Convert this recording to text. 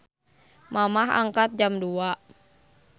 Mamah angkat jam 02.00